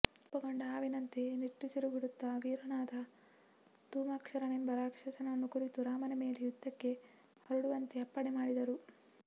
ಕೋಪಗೊಂಡ ಹಾವಿನಂತೆ ನಿಟ್ಟುಸಿರುಬಿಡುತ್ತ ವೀರನಾದ ಧೂಮ್ರಾಕ್ಷನೆಂಬ ರಾಕ್ಷಸನನ್ನು ಕುರಿತು ರಾಮನ ಮೇಲೆ ಯುದ್ಧಕ್ಕೆ ಹೊರಡುವಂತೆ ಅಪ್ಪಣೆಮಾಡಿದನು